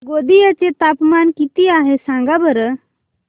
गोंदिया चे तापमान किती आहे सांगा बरं